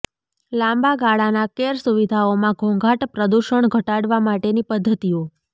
લાંબા ગાળાના કેર સુવિધાઓમાં ઘોંઘાટ પ્રદૂષણ ઘટાડવા માટેની પદ્ધતિઓ